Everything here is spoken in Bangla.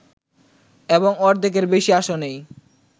এবং অর্ধেকের বেশি আসনেই